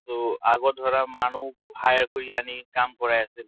ট আগত ধৰা মানুহ hire কৰি আনি কাম কৰি আছিল।